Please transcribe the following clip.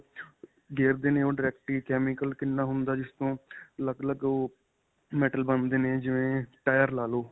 ਗੇਰ ਦੇ ਨੇ ਉਹ direct ਹੀ chemical ਕਿੰਨਾ ਹੁੰਦਾ ਜਿਸ ਤੋਂ ਅਲੱਗ-ਅਲੱਗ ਉਹ Metal ਬਣਦੇ ਨੇ ਜਿਵੇਂ tire ਲਾ ਲੋ.